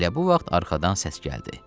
Elə bu vaxt arxadan səs gəldi.